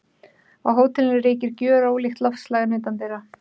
Á hótelinu ríkir gjörólíkt loftslag en utandyra.